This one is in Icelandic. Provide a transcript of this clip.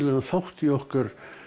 þátt í okkar